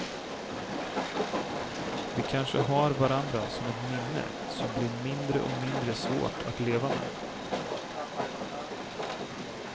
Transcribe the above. Vi kanske har varandra som ett minne som blir mindre och mindre svårt att leva med.